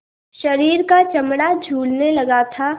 शरीर का चमड़ा झूलने लगा था